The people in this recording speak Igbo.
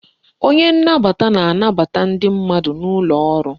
Onye nnabata na-anbata ndị mmadụ n'ụlọ ọrụ